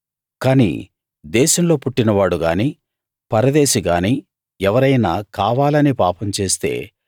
కాని దేశంలో పుట్టినవాడు గాని పరదేశి గాని ఎవరైనా కావాలని పాపం చేస్తే